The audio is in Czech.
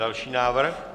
Další návrh.